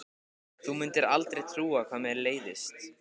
Þú mundir aldrei trúa hvað mér leiðist.